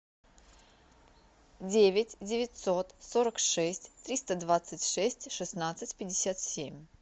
девять девятьсот сорок шесть триста двадцать шесть шестнадцать пятьдесят семь